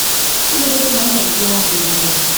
kílódé tó máa ń dà bí i pé wọn bu ni jẹ